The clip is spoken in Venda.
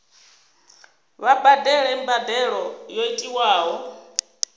vha badele mbadelo yo tiwaho